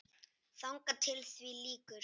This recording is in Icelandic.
Þangað til því lýkur.